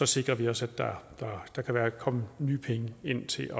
sikrer vi os at der kommer nye penge ind til at